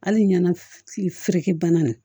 Hali ɲana kifiriki bana